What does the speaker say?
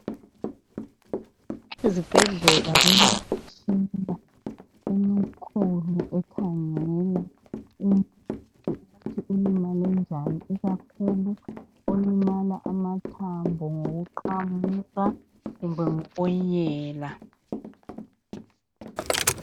Ezibhedlela kulemitshina emikhulu ekhangela umuntu ukuthi ulimele njani ikakhulu olimala amathambo ngokuqamuka kumbe ngokunyela.